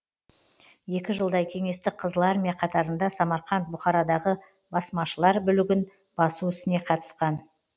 екі жылдай кеңестік қызыл армия қатарыңда самарқант бұхарадағы басмашылар бүлігін басу ісіне қатысқан